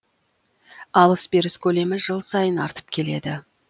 алыс беріс көлемі жыл сайын артып келеді